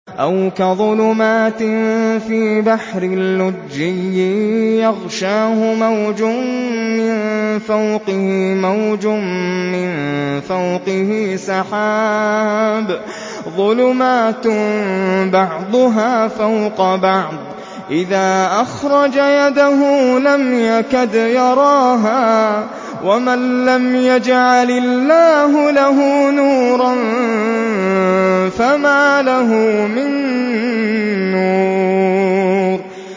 أَوْ كَظُلُمَاتٍ فِي بَحْرٍ لُّجِّيٍّ يَغْشَاهُ مَوْجٌ مِّن فَوْقِهِ مَوْجٌ مِّن فَوْقِهِ سَحَابٌ ۚ ظُلُمَاتٌ بَعْضُهَا فَوْقَ بَعْضٍ إِذَا أَخْرَجَ يَدَهُ لَمْ يَكَدْ يَرَاهَا ۗ وَمَن لَّمْ يَجْعَلِ اللَّهُ لَهُ نُورًا فَمَا لَهُ مِن نُّورٍ